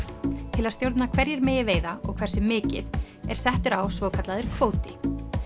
til að stjórna hverjir megi veiða og hversu mikið er settur á svokallaður kvóti